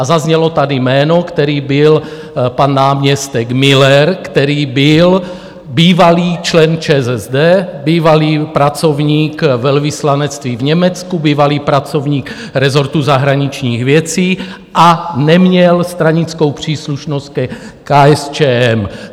A zaznělo tady jméno, které bylo pan náměstek Müller, který byl bývalý člen ČSSD, bývalý pracovník velvyslanectví v Německu, bývalý pracovník resortu zahraničních věcí a neměl stranickou příslušnost ke KSČM.